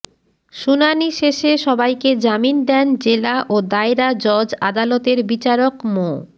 শুনানি শেষে সবাইকে জামিন দেন জেলা ও দায়রা জজ আদালতের বিচারক মো